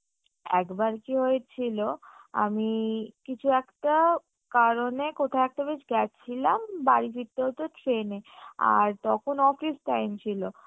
একবার কি হয়েছিলো আমি কিছু একটা কারণে কোথায় একটা বেশ গেছিলাম বাড়ি ফিরতে হতো train এ আর তখন office time ছিলো